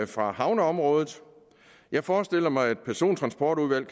fra havneområdet jeg forestiller mig at et sådant persontransportudvalg